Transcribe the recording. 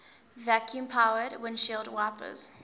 vacuum powered windshield wipers